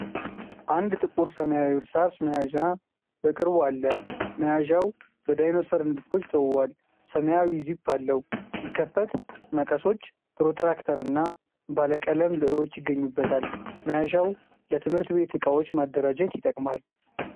አንድ ጥቁር ሰማያዊ እርሳስ መያዣ በቅርቡ አለ። መያዣው በዳይኖሰር ንድፎች ተውቧል፣ ሰማያዊ ዚፕ አለው። ሲከፈት መቀሶች፣ ፕሮትራክተርና ባለ ቀለም ብእሮች ይገኙበታል። መያዣው ለትምህርት ቤት ዕቃዎች ማደራጀት ይጠቅማል።